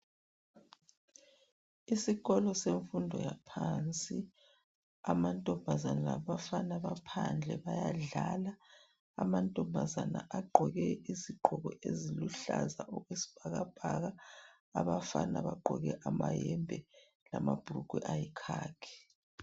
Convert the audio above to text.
Isikolo semfundo yaphansi amantombazana labafana baphandle bayadlala. Amantombazana agqoke izigqoko eziluhlaza okwesibhakabhaka, abafana bagqoke amayembe lamabhulugwe ayikhakhi.